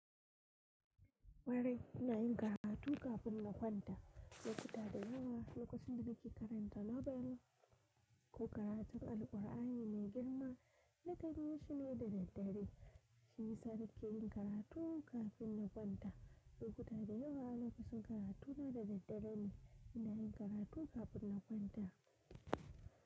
Kwarai ina yin karatu kafin na kwanta. Lokuta da yawa lokacin da nake karanta Nobel ko karatun Alƙur’ani mai girma na kan yi shi ne da daddare. Ni sarkin karatu kafin na kwanta. Lokuta da yawa na fi son karatu na da daddare ne inda yin karatu kafin na kwanta.